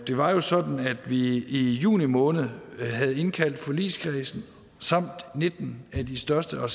var jo sådan at vi i juni måned havde indkaldt forligskredsen samt nitten af de største og